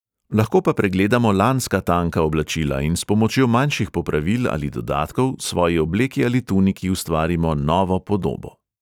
Lahko pa pregledamo lanska tanka oblačila in s pomočjo manjših popravil ali dodatkov svoji obleki ali tuniki ustvarimo novo podobo.